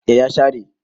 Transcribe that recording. eh ya share